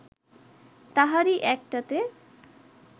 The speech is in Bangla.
তাহারি একটাতে